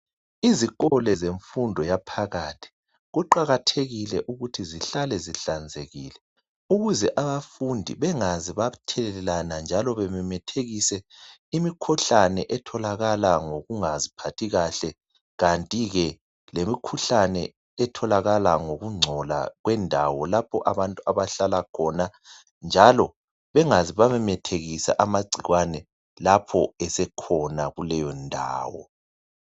Izikolo zemfundo yaphakathi kuqakathekile ukuthi zihlale zihlanzekile. Ukuze abafundi bengaze bathelelana, njalo bememethikise imikhuhlane etholakala ngokungaziphathi kahle. Kanti ke lemikhuhlane etholakala ngokungcola kwendawo lapho abantu abahlala khona. Njalo bengaze bamemethekisa amagcikwane lapho esekhona kuleyo ndawo.